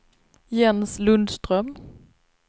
Jens Lundström